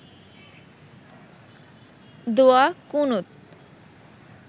দোয়া কুনুত